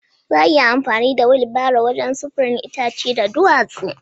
Za a iya yin amfani da wilibaro wajen sufurin itace da duwatsu